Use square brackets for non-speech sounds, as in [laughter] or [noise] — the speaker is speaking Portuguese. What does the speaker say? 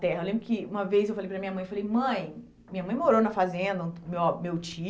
terra. Eu lembro que uma vez eu falei para a minha mãe, eu falei, mãe, minha mãe morou na fazenda, meu ah [unintelligible] meu